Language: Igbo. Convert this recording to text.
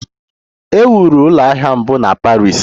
E wuru ụlọ ahịa mbụ na Paris.